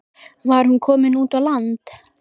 Var hún komin út á land?